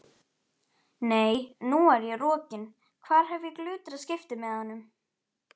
Nei, nú er ég rokin, hvar hef ég glutrað skiptimiðanum?